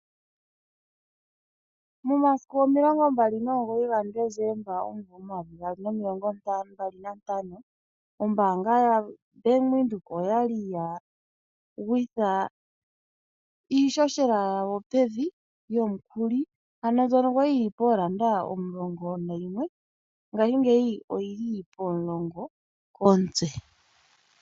Momasiku omilongo mbali nomugoyi gaDesemba omvula omayovi gaali nomilongo mbali nantano, ombanga yaVenduka oyali ya gwitha iishoshela yawo pevi yomukuli. Ano mbyono yali yili poodollar omulongo nayimwe ngaashi oyili pomulongo komutse.